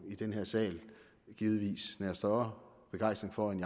i den her sal givetvis nærer større begejstring for end